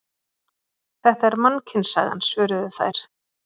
Þetta er Mannkynssagan, svöruðu þær.